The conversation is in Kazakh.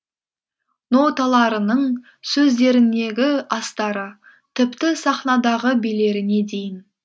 ноталарының сөздерінегі астары тіпті сахнадағы билеріне дейін